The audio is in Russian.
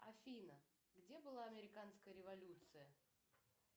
афина где была американская революция